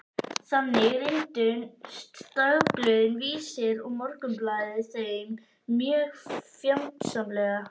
Þannig reyndust dagblöðin Vísir og Morgunblaðið þeim mjög fjandsamleg.